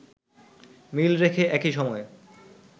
মিল রেখে একই সময়ে